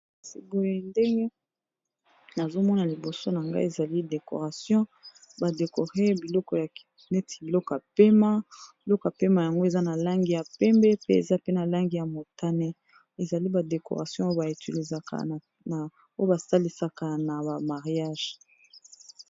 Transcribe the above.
Kasi boye ndenge nazomona liboso na ngai ezali decoration badekore biloko ya neti bilokompema biloko mpema yango eza na langi ya pembe pe eza pe na langi ya motane ezali badecoration oyo baetilisaka na oyo basalisaka na bamariage